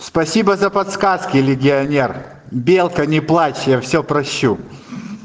спасибо за подсказки легионер белка не плачь я всё прощу